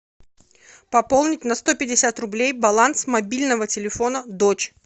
пополнить на сто пятьдесят рублей баланс мобильного телефона дочь